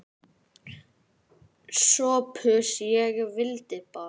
SOPHUS: Ég vildi bara.